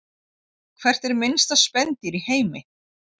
Hvert er minnsta spendýr í heimi?